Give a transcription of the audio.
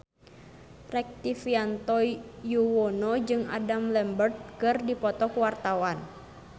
Rektivianto Yoewono jeung Adam Lambert keur dipoto ku wartawan